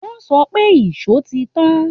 Wọ́n sọ pé ìṣó ti tán